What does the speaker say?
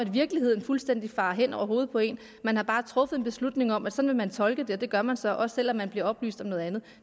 virkeligheden fuldstændig farer hen over hovedet på én man har bare truffet en beslutning om at sådan vil man tolke det og det gør man så også selv om man bliver oplyst om noget andet